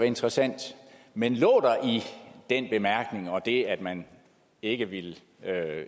interessant men lå der i den bemærkning og det at man ikke ville